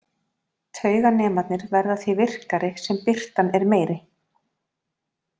Tauganemarnir verða því virkari sem birtan er meiri.